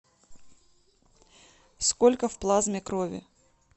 сколько в плазме крови